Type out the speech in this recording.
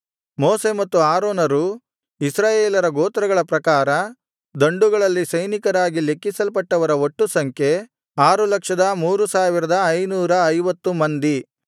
ಮೋಶೆ ಮತ್ತು ಆರೋನರು ಇಸ್ರಾಯೇಲರ ಗೋತ್ರಗಳ ಪ್ರಕಾರ ದಂಡುಗಳಲ್ಲಿ ಸೈನಿಕರಾಗಿ ಲೆಕ್ಕಿಸಲ್ಪಟ್ಟವರ ಒಟ್ಟು ಸಂಖ್ಯೆ 603550 ಮಂದಿ